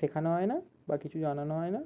শেখানো হয় না বা কিছু জানানো হয় না